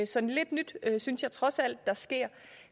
så lidt nyt synes jeg trods alt der sker